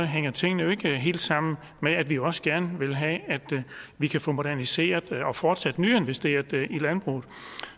hænger tingene ikke helt sammen med at vi også gerne vil have at vi kan få moderniseret og fortsat nyinvesteret i landbruget